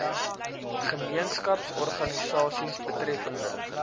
gemeenskaps organisasies betreffende